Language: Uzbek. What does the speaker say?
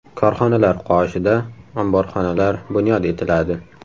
Korxonalar qoshida omborxonalar bunyod etiladi.